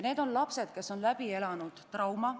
Need on lapsed, kes on läbi elanud trauma.